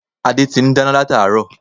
Adé ti n dáná látáárò